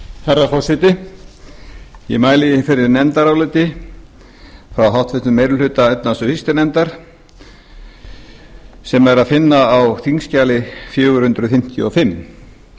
herra forseti ég mæli hér fyrir nefndaráliti frá háttvirtri meiri hluta efnahags og viðskiptanefndar sem er að finna á þingskjali fjögur hundruð fimmtíu og fimm